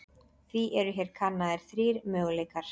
Því eru hér kannaðir þrír möguleikar.